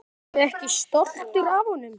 Ertu ekki stoltur af honum?